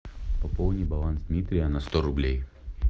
пополни баланс дмитрия на сто рублей